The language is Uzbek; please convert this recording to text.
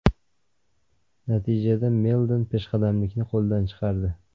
Natijada Meldon peshqadamlikni qo‘ldan chiqardi.